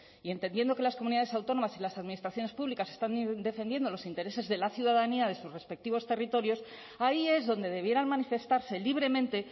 y entendiendo que las comunidades autónomas y las administraciones públicas están defendiendo los intereses de la ciudadanía de sus respectivos territorios ahí es donde debieran manifestarse libremente